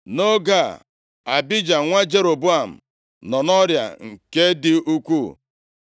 Nʼoge a, Abija nwa Jeroboam nọ nʼọrịa nke dị ukwuu.